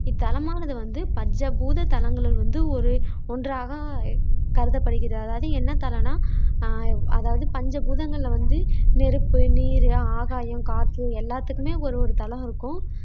இத்தலமானது வந்து பஞ்ச பூதத் தலங்களில் வந்து ஒரு ஒன்றாக கருதப்படுகிறது அதாவது என்ன தலம்னா ஆஹ் அதாவது பஞ்ச பூதங்களில வந்து நெருப்பு, நீர், ஆகாயம், காற்று எல்லாத்துக்குமே ஒரு ஒரு தலம் இருக்கும்